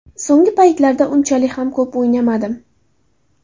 So‘nggi paytlarda unchalik ham ko‘p o‘ynamadim.